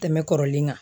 Tɛmɛ kɔrɔlen kan